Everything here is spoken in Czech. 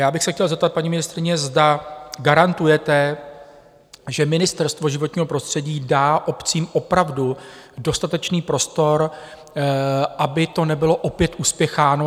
Já bych se chtěl zeptat paní ministryně, zda garantujete, že Ministerstvo životního prostředí dá obcím opravdu dostatečný prostor, aby to nebylo opět uspěcháno?